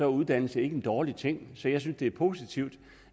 uddannelse ikke en dårlig ting så jeg synes det er positivt